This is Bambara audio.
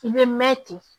I bɛ mɛn ten